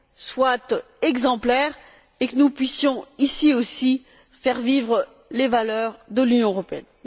soit exemplaire et que nous puissions ici aussi faire vivre les valeurs de l'Union européenne.